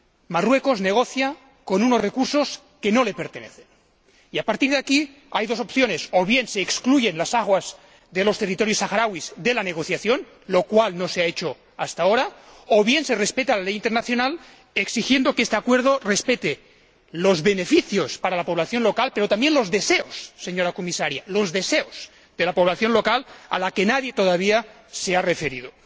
Marruecos negocia con unos recursos que no le pertenecen, y a partir de aquí hay dos opciones o bien se excluyen las aguas de los territorios saharauis de la negociación —lo cual no se ha hecho hasta ahora—, o bien se respeta la ley internacional exigiendo que este Acuerdo respete los beneficios para la población local, pero también los deseos, señora Comisaria, los deseos de la población local, a la que nadie todavía se ha referido.